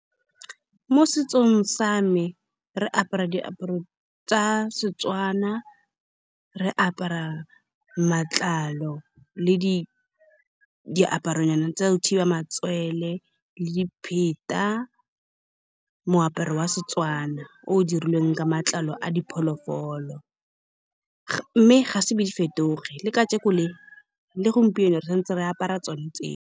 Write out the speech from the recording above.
Mo setsong sa me re apara diaparo tsa Setswana. Re apara matlalo le di, diaparonya tsa go thiba matswele le dipheta. Moaparo wa Setswana o o dirilweng ka matlalo a diphologolo , mme ga se be di fetoge. Le kajeno le, le gompieno re santse re apara tsone tseo.